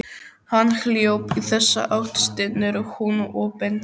Hann hljóp í þessa átt, stynur hún og bendir.